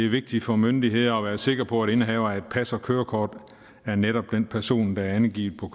vigtigt for myndigheder at være sikre på at indehaveren af et pas og et kørekort er netop den person der er angivet på